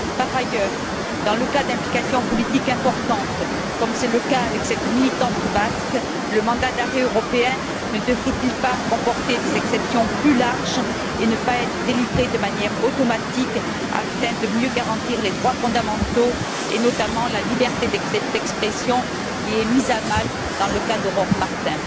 Par ailleurs, dans le cas d'implications politiques importantes, comme pour cette militante basque, le mandat d'arrêt européen ne devrait il pas comporter des exceptions plus larges et ne pas être délivré de manière automatique, afin de mieux garantir les droits fondamentaux et notamment la liberté d'expression, qui est mise à mal dans le cas d'Aurore Martin?